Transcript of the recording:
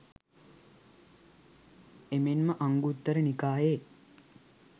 එමෙන්ම අංගුත්තර නිකායේ